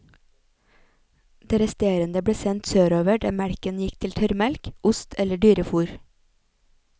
Det resterende ble sendt sørover der melken gikk til tørrmelk, ost eller dyrefôr.